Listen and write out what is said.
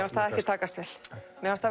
takast mér fannst það